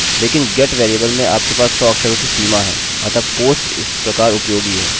अतः यह मूलतः पोस्ट वेरिएबल है